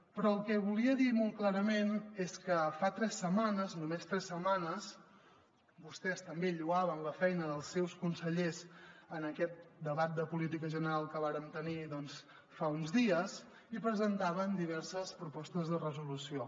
però el que volia dir molt clarament és que fa tres setmanes només tres setmanes vostès també lloaven la feina dels seus consellers en aquest debat de política general que vàrem tenir fa uns dies i presentaven diverses propostes de resolució